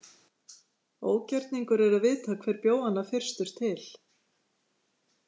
Ógerningur er að vita hver bjó hana fyrstur til.